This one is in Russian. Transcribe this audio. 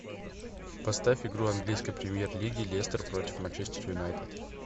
поставь игру английской премьер лиги лестер против манчестер юнайтед